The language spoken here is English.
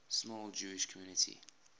small jewish community